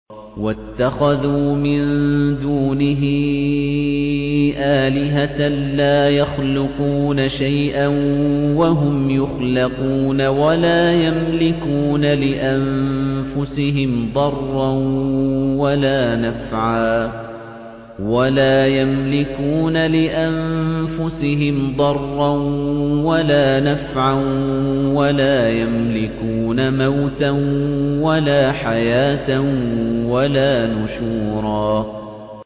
وَاتَّخَذُوا مِن دُونِهِ آلِهَةً لَّا يَخْلُقُونَ شَيْئًا وَهُمْ يُخْلَقُونَ وَلَا يَمْلِكُونَ لِأَنفُسِهِمْ ضَرًّا وَلَا نَفْعًا وَلَا يَمْلِكُونَ مَوْتًا وَلَا حَيَاةً وَلَا نُشُورًا